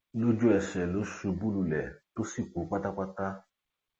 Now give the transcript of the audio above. lójúẹsẹ ló ṣubú lulẹ tó sì kú pátápátá